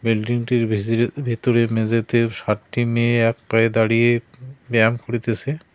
বিল্ডিংটির ভিজড়ে ভিতরে মেজেতে সাতটি মেয়ে একপায়ে দাঁড়িয়ে ব্যাম করিতেসে।